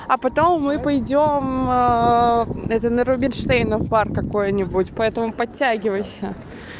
а потом мы пойдём это на рубинштейна в парк какой-нибудь поэтому подтягивайся